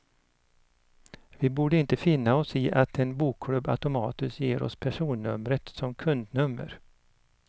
Vi borde inte finna oss i att en bokklubb automatiskt ger oss personnumret som kundnummer.